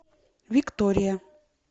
виктория